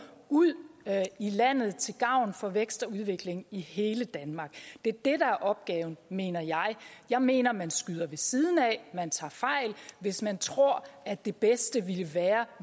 ud i landet til gavn for vækst og udvikling i hele danmark det er det er opgaven mener jeg jeg mener at man skyder ved siden af at man tager fejl hvis man tror at det bedste ville være